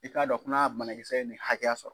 I k'a dɔn k n'a bana kisɛ ye nin hakɛya sɔrɔ